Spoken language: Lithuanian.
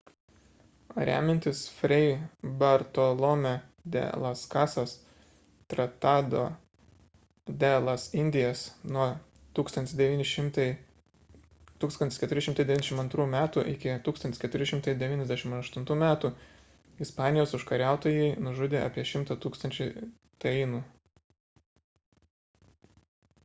remiantis fray bartolomé de las casas tratado de las indias nuo 1492 m. iki 1498 m. ispanijos užkariautojai nužudė apie 100 000 tainų